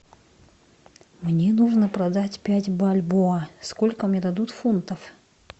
мне нужно продать пять бальбоа сколько мне дадут фунтов